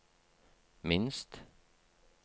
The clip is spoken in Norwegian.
minst